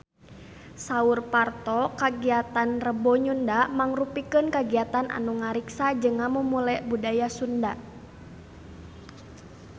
Saur Parto kagiatan Rebo Nyunda mangrupikeun kagiatan anu ngariksa jeung ngamumule budaya Sunda